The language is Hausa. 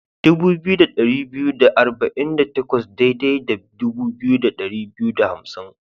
Dubu biyu da dari biyu da arba'in da takwas daidai da dubu biyu da dari biyu da hamsin.